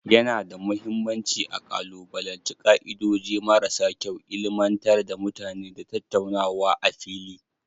Yana da mahimmanci a kalubalanci ka'idoji marasa kyau, ilmantar da mutane, da tattaunawa a fili.